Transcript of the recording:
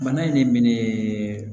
Bana in ne minɛ